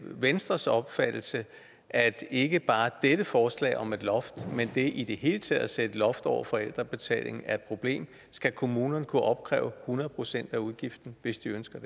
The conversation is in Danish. venstres opfattelse at ikke bare dette forslag om et loft men det i det hele taget at sætte et loft over forældrebetalingen er et problem skal kommunerne kunne opkræve hundrede procent af udgiften hvis de ønsker